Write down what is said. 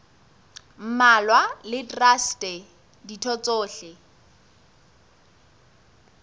mmalwa le traste ditho tsohle